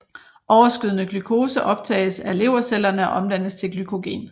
Overskydende glukose optages af levercellerne og omdannes til glykogen